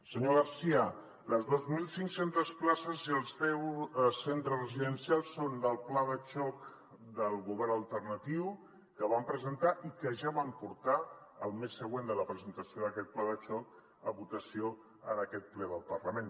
senyor garcía les dos mil cinc cents places i els deu centres residencials són del pla de xoc del govern alternatiu que van presentar i que ja van portar el mes següent de la pre·sentació d’aquest pla de xoc a votació en aquest ple del parlament